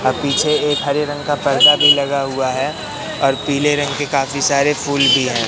अह पीछे एक हरे रंग का पर्दा भी लगा हुआ है और पीले रंग के काफी सारे फूल भी हैं।